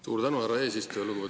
Suur tänu, härra eesistuja!